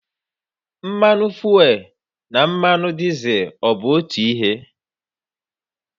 Mmanụ fuel na mmanụ dizel bụ otu ihe?